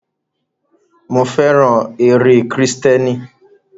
Mo fẹ́ràn eré kírísítẹ́nì.